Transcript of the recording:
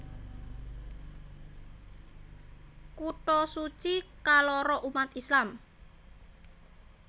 Kutha suci kaloro umat Islam